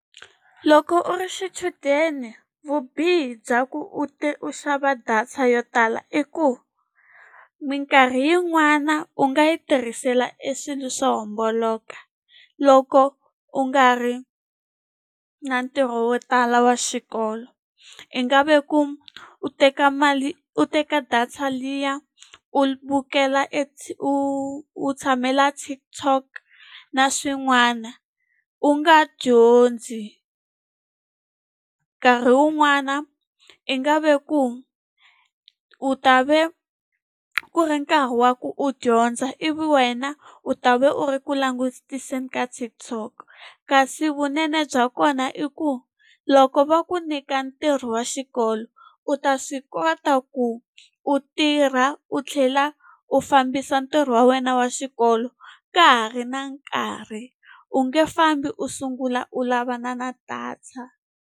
Loko u ri xichudeni vubihi bya ku u u xava data yo tala i ku, minkarhi yin'wana u nga yi tirhisela e swilo swo homboloka. Loko u nga ri na ntirho wo tala wa xikolo. I nga ve ku u teka mali u teka data liya, u vukela e u u tshamela TikTok na swin'wana u nga dyondzi. Nkarhi wun'wana i nga ve ku u ta ve ku ri nkarhi wa ku u dyondza ivi wena u ta ve u ri ku langutiseni ka TikTok. Kasi vunene bya kona i ku, loko va ku nyika ntirho wa xikolo, u ta swi kota ku u tirha u tlhela u fambisa ntirho wa wena wa xikolo ka ha ri na nkarhi. U nge fambi u sungula u lavana na data.